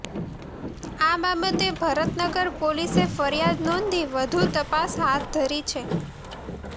આ બાબતે ભરતનગર પોલીસે ફરિયાદ નોંધી વધુ તપાસ હાથ ધરી છે